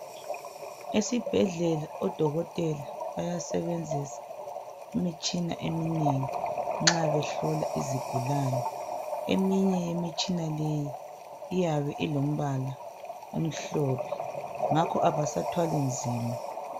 Esibhedlela odokotela bayasebenzisa imitshina eminengi nxa behlola izigulane. Eminye yemitshina leyi iyabe ilombala omhlophe. Ngakho abasathwali nzima.